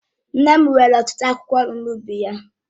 Nne m nwere ọtụtụ akwụkwọ nri n'ubi ya